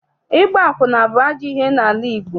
Ịgba akwụna bụ ajọ ihe n'ala Igbo.